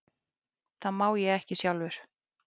Það má ég ekki sjálfur.